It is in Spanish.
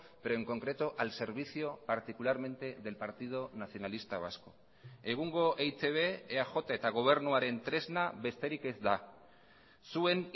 pero en concreto al servicio particularmente del partido nacionalista vasco egungo eitb eaj eta gobernuaren tresna besterik ez da zuen